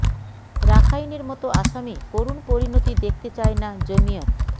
রাখাইনের মতো আসামে করুণ পরিণতি দেখতে চায় না জমিয়ত